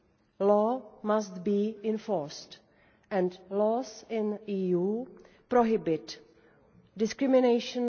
the law must be enforced, and laws in the EU prohibit discrimination.